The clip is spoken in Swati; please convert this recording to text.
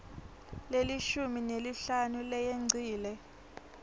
lelishumi nesihlanu leyengcile